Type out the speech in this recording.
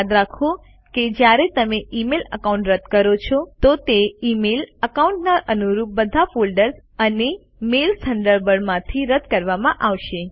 યાદ રાખો કે જયારે તમે ઇમેઇલ એકાઉન્ટ રદ કરો છો તો તે ઇમેઇલ એકાઉન્ટના અનુરૂપ બધા ફોલ્ડર્સ અને મેઇલ્સ થન્ડરબર્ડ માંથી રદ કરવામાં આવશે